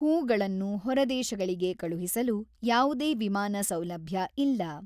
ಹೂ ಗಳನ್ನು ಹೊರದೇಶಗಳಿಗೆ ಕಳುಹಿಸಲು ಯಾವುದೇ ವಿಮಾನ ಸೌಲಭ್ಯ ಇಲ್ಲ.